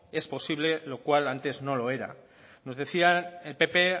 es posible lo cual antes no lo era nos decía el pp